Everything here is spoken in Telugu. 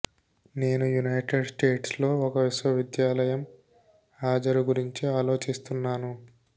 నేను యునైటెడ్ స్టేట్స్ లో ఒక విశ్వవిద్యాలయం హాజరు గురించి ఆలోచిస్తున్నాను